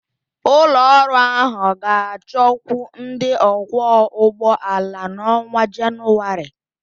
Ụlọ ọrụ ahụ ga-achọkwu ndị ọkwọ ụgbọ ala n'ọnwa Jenụwarị